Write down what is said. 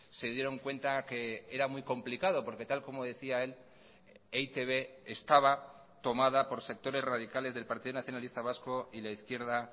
se dieron cuenta que era muy complicado porque tal como decía el e i te be estaba tomada por sectores radicales del partido nacionalista vasco y la izquierda